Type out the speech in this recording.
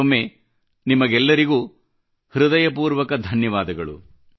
ಮತ್ತೊಮ್ಮೆ ನಿಮ್ಮೆಲ್ಲರಿಗೂ ಹೃದಯಪೂರ್ವಕ ಧನ್ಯವಾದಗಳು